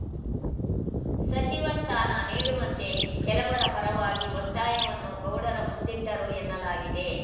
ಸಚಿವ ಸ್ಥಾನ ನೀಡುವಂತೆ ಕೆಲವರ ಪರವಾಗಿ ಒತ್ತಾಯವನ್ನು ಗೌಡರ ಮುಂದಿಟ್ಟರು ಎನ್ನಲಾಗಿದೆ